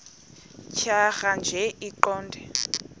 tjhaya nje iqondee